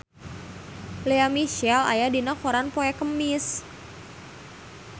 Lea Michele aya dina koran poe Kemis